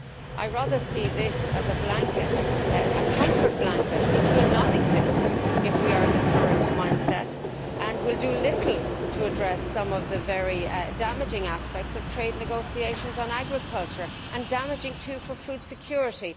I rather see this as a blanket, a comfort blanket, which will not exist if we are in the current mindset and will do little to address some of the very damaging aspects of trade negotiations on agriculture, which are also damaging for food security.